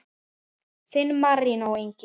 Þinn, Marinó Ingi.